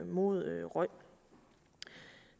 mod røg